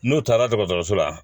N'u taara dɔgɔtɔrɔso la